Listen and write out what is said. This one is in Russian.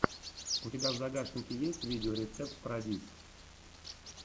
у тебя в загашнике есть видеорецепт парадиз